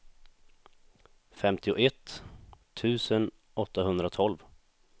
femtioett tusen åttahundratolv